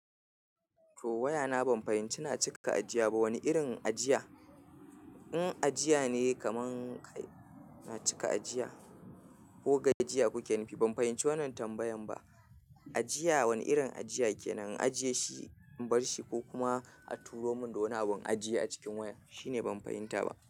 To waya na ban fahimci, na cika ajiya ba wani irin ajiya. In ajiya ne kaman ka cika ajiya ko ga ajiya kuke nufi ban fahimci wanan tambayan ba. Ajiya wani irin ajiya kenan? Ajiye shi in bar shi ko kuma a turo mun da wani abu in ajiye a cikin waya. Shine ban fahimta ba.